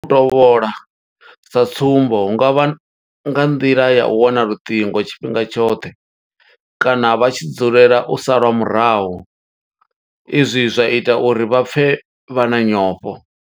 U tovhola sa tsumbo hu nga vha nga nḓila ya u wana luṱingo tshifhinga tshoṱhe kana vha tshi dzulela u salwa murahu izwi zwa ita uri vha pfe vha na nyofho.